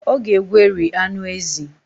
Ọ ga-egweri anụ ezi